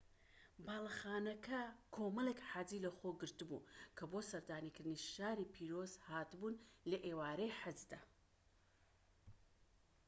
باڵەخانەکە کۆمەڵیک حاجی لەخۆگرت بوو کە بۆ سەردانیکردنی شاری پیرۆز هات بوون لە ئێوارەی حەجدا